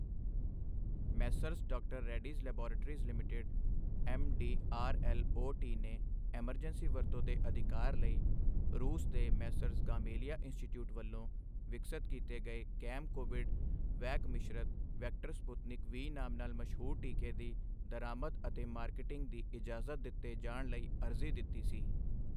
Messrs ਡਾ. Reddy's laboratories limited ਐਮਡੀਆਰਐਲਊਟ ਨੇ ਐਮਰਜੈਂਸੀ ਵਰਤੋਂ ਦੇ ਅਧਿਕਾਰ ਲਈ ਰੂਸ ਦੇ ਮੈਸਰਜ਼ ਗਮਾਲੇਆ ਇੰਸਟੀਚਿਊਟ ਵੱਲੋਂ ਵਿਕਸਤ ਕੀਤੇ ਗਏ ਗੈਮ ਕੋਵਿਡ ਵੈਕ ਮਿਸ਼ਰਤ ਵੈਕਟਰ ਸਪੂਤਨਿਕ ਵੀ ਨਾਮ ਨਾਲ ਮਸ਼ਹੂਰ ਟੀਕੇ ਦੀ ਦਰਾਮਦ ਅਤੇ ਮਾਰਕੀਟਿੰਗ ਦੀ ਇਜਾਜ਼ਤ ਦਿਤੇ ਜਾਣ ਲਈ ਅਰਜ਼ੀ ਦਿੱਤੀ ਸੀ।